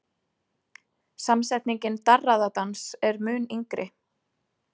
Samsetningin darraðardans er mun yngri.